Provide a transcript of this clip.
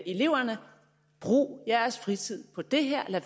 eleverne brug jeres fritid på det her og